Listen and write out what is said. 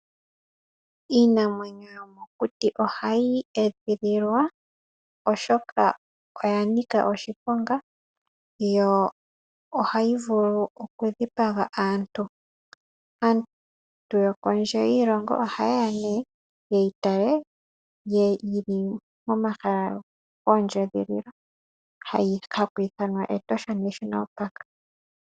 Iinamwenyo yomokuti oha yi edhililwa, oshoka oya nika oshiponga, yo oha yi vulu oku dhipaga aantu. Aantu yokondje yiilongo oha ye ya nee ye yi tale, yi li momahala goondjedhililo, haku ithanwa Etosha National Park.